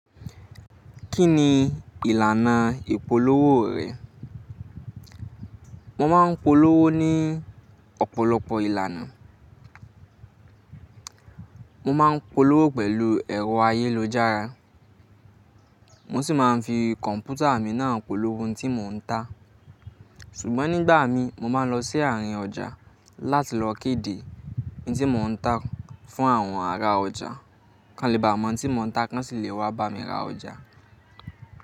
Kí ni ìlànà ìpolówó rẹ? Mo máa ń polówó ní ọ̀pọ̀lọpọ̀ ìlànà. Mo máa ń polówó pẹ̀lú ẹ̀rọ ayélujára, mo sì máa ń fi kọ̀m̀pútà mi náà polówó ohun tí mò ń ta. Ṣùgbọ́n nígbà mí, mo máa ń lọ sí àárín ọjà láti lọ kéde ohun tí mò ń ta fún àwọn ará ọjà. Kànlẹ̀ bá mọ ohun tí mò ń ta tán ṣì lè wá bá mi ra ọjà.